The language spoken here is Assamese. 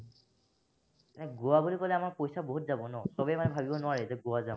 গোৱা বুলি কলে আমাৰ পইচা বহুত যাব ন, সৱেই মানে ভাবিব নোৱাৰে যে গোৱা যাম।